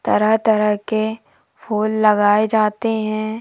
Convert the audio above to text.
तरह तरह के फूल लगाए जाते हैं।